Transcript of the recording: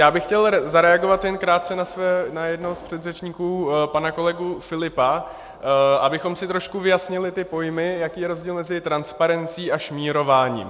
Já bych chtěl zareagovat jen krátce na jednoho z předřečníků, pana kolegu Filipa, abychom si trošku vyjasnili ty pojmy, jaký je rozdíl mezi transparencí a šmírováním.